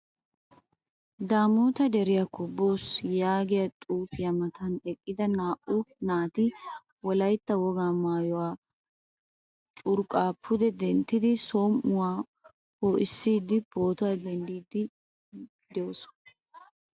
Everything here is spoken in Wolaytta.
Damota deriyaakko boos yaagiyaa xuufiyaa matan eqida naa"u naati wolaytta wogaa maayuwaa curqq pude denttidi som'uwaa poissidi pootuwaa denddidi de'oosona.